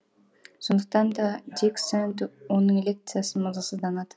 сондықтан да дик сэнд оның лекциясын мазасыздана